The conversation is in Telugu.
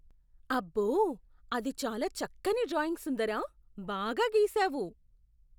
అబ్బో! అది చాలా చక్కని డ్రాయింగ్ సుందరా! బాగా గీసావు.